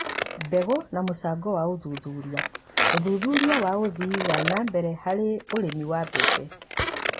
Mbegũ na mũcango wa ũthuthuria: ũthuthuria wa ũthii wa na mbere harĩ ũrĩmi wa mbembe